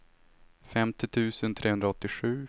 femtio tusen trehundraåttiosju